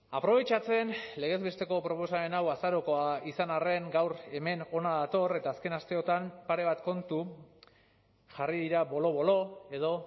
aprobetxatzen legez besteko proposamen hau azarokoa izan arren gaur hemen hona dator eta azken asteotan pare bat kontu jarri dira bolo bolo edo